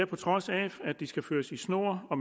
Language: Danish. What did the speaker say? på trods af at de skal føres i snor og